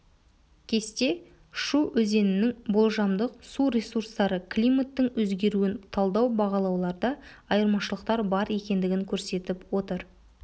кесте шу өзенінің болжамдық су ресурстары климаттың өзгеруін талдау бағалауларда айырмашылықтар бар екендігін көрсетіп отыр